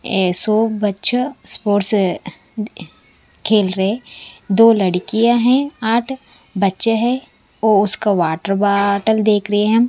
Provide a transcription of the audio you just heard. एसो बच्चा स्पोर्ट्स खेल रहे है दो लड़कियां हैं आठ बच्चे है वो उसका वाटर बॉटल देख रहे हैं।